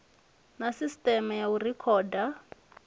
na sisiteme ya u rekhoda